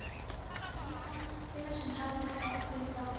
Það var Gunnar sem talaði fyrir þá Birki.